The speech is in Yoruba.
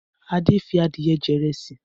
Adé fi adìẹ jẹ ìrẹsì.